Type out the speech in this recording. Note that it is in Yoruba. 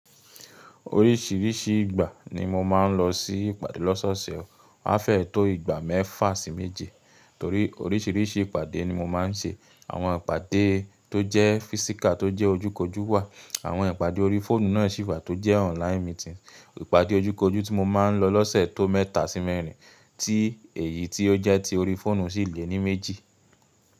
Oríṣiríṣi ìgbà ni mo máa ń lọ sí ìpàdé lọ́sọ̀ọ̀sẹ̀. A fẹ́ẹ tó ìgbà mẹ́fà sí méje torí oríṣiríṣi ìpàdé ni mo máa ń ṣe. Àwọn ìpàdé tó jẹ́ físíkà tó jẹ́ ojú kojú wà, àwọn ìpàdé orí fóònù náà sì wà tó jẹ́ online meeting. Ìpàdé ojú kojú tí mo máa ń lọ lọ́sẹ̀ tó mẹ́ta sí mẹ́rin, tí èyí tó jẹ́ ti orí fóònù sì le ní méjì.